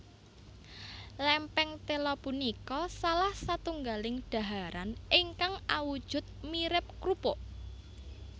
Lèmpèng téla punika salah satunggaling daharan ingkang awujud mirip krupuk